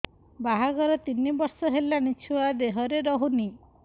ବାହାଘର ତିନି ବର୍ଷ ହେଲାଣି ଛୁଆ ଦେହରେ ରହୁନି